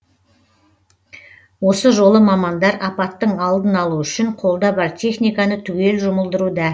осы жолы мамандар апаттың алдын алу үшін қолда бар техниканы түгел жұмылдыруда